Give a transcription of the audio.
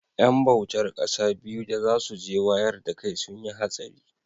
yan bautar kasa biyu da za su je wayar dakai sun yi hatsari